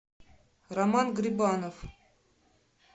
роман грибанов